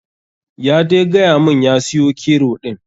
Ya dai gayamun ya siyo kero ɗin.